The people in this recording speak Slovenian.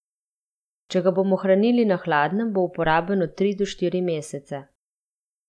Če ga bomo hranili na hladnem, bo uporaben od tri do štiri mesece.